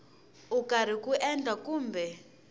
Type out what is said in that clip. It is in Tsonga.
u karhi ku endla kumbe